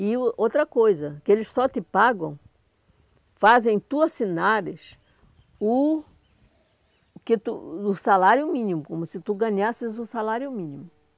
E outra coisa, que eles só te pagam, fazem tu assinares o o que tu o salário mínimo, como se tu ganhasses o salário mínimo.